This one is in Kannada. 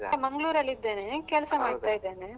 Mangalore ಲ್ಲಿದ್ದೇನೆ, ಕೆಲಸ ಮಾಡ್ತಾ ಇದೇನೆ.